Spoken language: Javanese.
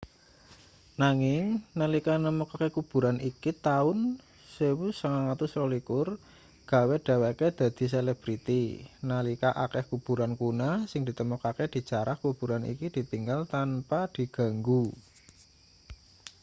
nanging nalika nemokake kuburan iki taun 1922 gawe dheweke dadi selebriti nalika akeh kuburan kuna sing ditemokake dijarah kuburan iki ditinggal tanpa diganggu